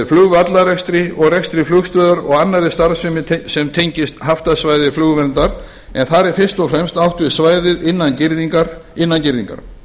flugvallarekstri og rekstri flugstöðvar og annarri starfsemi sem tengist haftasvæði flugverndar en þar er fyrst og fremst átt við svæðið innan girðingar